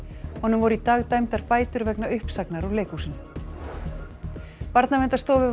honum voru í dag dæmdar bætur vegna uppsagnar úr leikhúsinu Barnaverndarstofu